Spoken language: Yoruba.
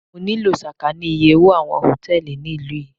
Mo nílò sàkání iye owó àwọn Hòtẹ́lìì ní ìlú yí.